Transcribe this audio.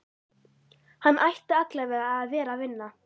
Hann ætti allavega að vera að vinna.